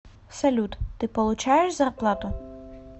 салют ты получаешь зарплату